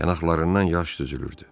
Yanaqlarından yaş düzülürdü.